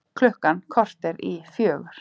Klukkan korter í fjögur